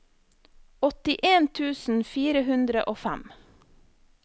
åttien tusen fire hundre og fem